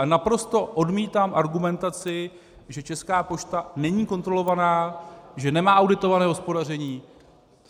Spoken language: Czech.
Ale naprosto odmítám argumentaci, že Česká pošta není kontrolovaná, že nemá auditované hospodaření.